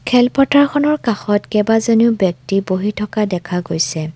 খেল পথাৰখনৰ কাষত কেইবাজনিয়ো ব্যক্তি বহি থকা দেখা গৈছে।